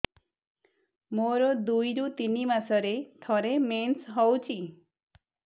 ମୋର ଦୁଇରୁ ତିନି ମାସରେ ଥରେ ମେନ୍ସ ହଉଚି